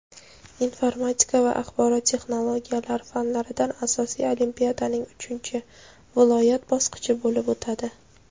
informatika va axborot texnologiyalari fanlaridan asosiy olimpiadaning uchinchi (viloyat) bosqichi bo‘lib o‘tadi.